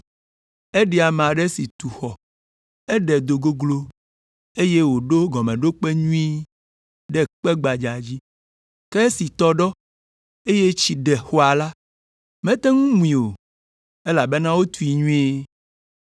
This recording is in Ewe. Eɖi ame aɖe si tu xɔ, eɖe do goglo, eye wòɖo gɔmeɖokpe nyuie ɖe kpe gbadza dzi, ke esi tɔ ɖɔ, eye tsi ɖe xɔa la, mete ŋu mui o, elabena wotui nyuie.